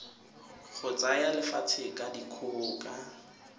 go tsaya lefatshe ka dikgoka